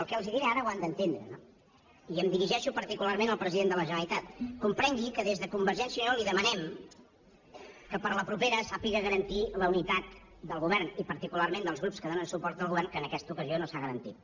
el que els diré ara ho han d’entendre no i em dirigeixo particularment al president de la generalitat comprengui que des de convergència i unió li demanem que per a la propera sàpiga garantir la unitat del govern i particularment dels grups que donen suport al govern que en aquesta ocasió no s’ha garantit